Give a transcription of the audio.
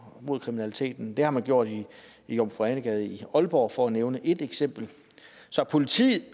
mod kriminaliteten det har man gjort i jomfru ane gade i aalborg for at nævne et eksempel så politiet